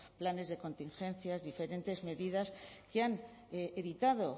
planes de contingencia diferentes medidas que han evitado